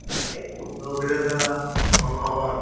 କଣ ଖବର